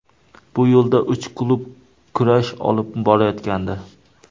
Bu yo‘lda uch klub kurash olib borayotgandi.